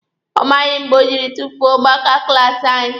Ọ maghị mgbe o jiri tufuo maaka klaasi anyị.